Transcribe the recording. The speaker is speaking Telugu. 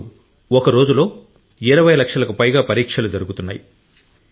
ఇప్పుడు ఒక రోజులో 20 లక్షలకు పైగా పరీక్షలు జరుగుతున్నాయి